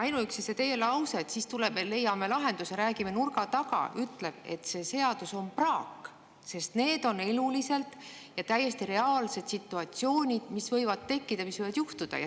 Ainuüksi see teie lause, et siis leiame lahenduse, räägime nurga taga, ütleb, et see seadus on praak, sest need on täiesti reaalsed situatsioonid, mis võivad tekkida.